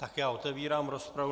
Tak já otevírám rozpravu.